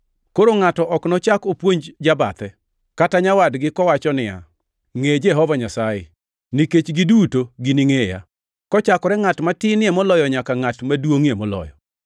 Koro ngʼato ok nochak opuonj jabathe, kata nyawadgi kowacho ni, ‘Ngʼe Jehova Nyasaye,’ nikech giduto giningʼeya kochakore ngʼat matinie moloyo nyaka ngʼat maduongʼie moloyo.